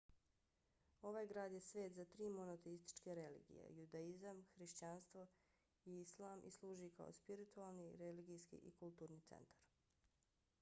ovaj grad je svet za tri monoteističke religije – judaizam kršćanstvo i islam i služi kao spiritualni religijski i kulturni centar